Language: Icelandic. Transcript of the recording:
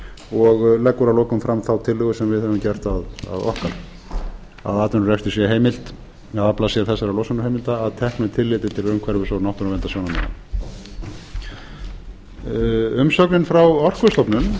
og leggur að lokum fram þá tillögu sem við höfum gert að okkar að atvinnurekstri sé heimilt að afla sér þessara losunarheimilda að teknu tilliti til umhverfis og náttúruverndarsjónarmiða umsögnin frá orkustofnun